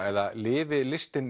eða lifi listin